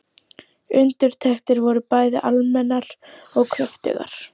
Undirtektir voru bæði almennar og kröftugar.